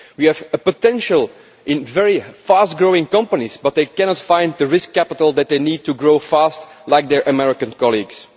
we have the potential of fast growing companies, but they cannot find the risk capital that they need to grow fast like their American colleagues.